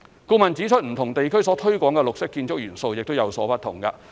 顧問指出，不同地區所推廣的綠色建築元素，亦有不同。